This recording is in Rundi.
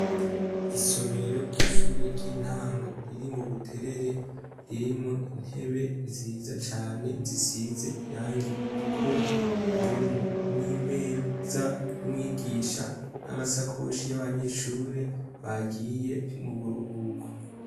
Isomero ry'ishure ry'intango riri mubuterere, ririmwo intebe nziza cane zisize irangi ritukura. Harimwo n'imeza y'umwigisha n'amasakoshi y'abanyeshure bagiye mu buruhuko.